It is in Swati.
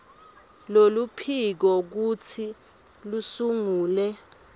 loluphiko kutsi lusungule